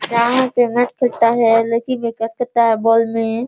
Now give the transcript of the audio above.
ground पे match खेलता है लड़की है बॉल में --